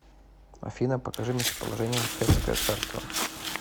афина покажи местоположение хеттское царство